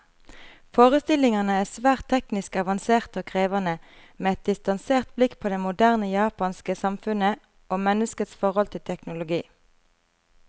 Forestillingene er svært teknisk avanserte og krevende, med et distansert blikk på det moderne japanske samfunnet, og menneskets forhold til teknologi.